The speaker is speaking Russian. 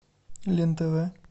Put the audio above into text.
лен тв